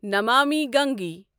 Namami Gange